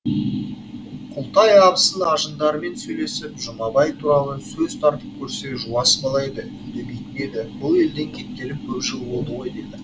күлтай абысын ажындарымен сөйлесіп жұмабай туралы сөз тартып көрсе жуас бала еді үндемейтін еді бұл елден кеткелі көп жыл болды ғой дейді